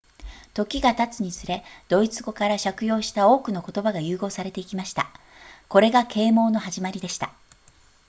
時が経つにつれドイツ語から借用した多くの言葉が融合されていきましたこれが啓蒙の始まりでした